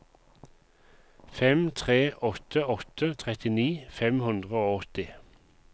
fem tre åtte åtte trettini fem hundre og åtti